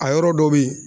A yɔrɔ dɔ bɛ yen